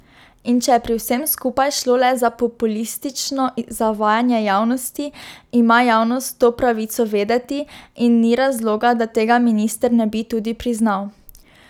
In če je pri vsem skupaj šlo le za populistično zavajanje javnosti, ima javnost to pravico vedeti in ni razloga, da tega minister ne bi tudi priznal.